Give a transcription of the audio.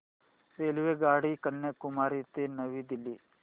रेल्वेगाडी कन्याकुमारी ते नवी दिल्ली